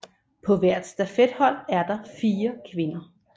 På hvert stafethold er der fire kvinder